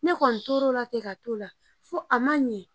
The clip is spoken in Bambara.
Ne kɔni tor'o la ten ka to o la fo a ma ɲɛ